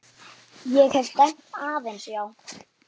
Ég hef dæmt aðeins já.